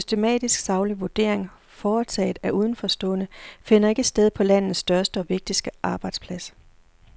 Systematisk saglig vurdering, foretaget af udenforstående, finder ikke sted på landets største og vigtigste arbejdsplads.